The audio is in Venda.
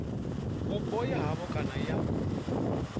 vhupo ha havho kana ya